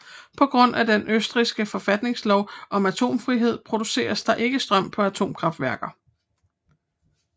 På grund af den østrigske forfatningslov om atomfrihed produceres der ikke strøm på atomkraftværker